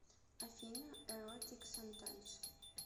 афина эротик сантайс